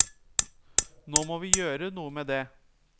Nå må vi gjøre noe med dét.